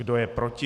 Kdo je proti?